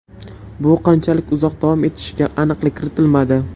Bu qanchalik uzoq davom etishiga aniqlik kiritilmadi.